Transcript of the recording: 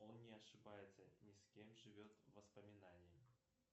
он не ошибается ни скем живет воспоминанием